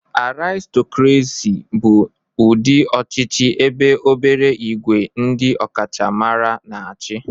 Aristocracy bụ ụdị ọchịchị ebe obere ìgwè ndị ọkachamara na-achị